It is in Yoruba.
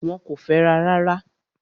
Wọ́n kò fẹ́ra rárá.